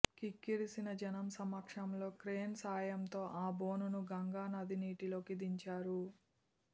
కిక్కిరిసిన జనం సమక్షంలో క్రేన్ సాయంతో ఆ బోనును గంగా నది నీటిలోకి దించారు